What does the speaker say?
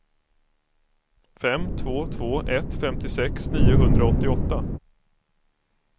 fem två två ett femtiosex niohundraåttioåtta